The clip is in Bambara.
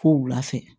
Ko wula fɛ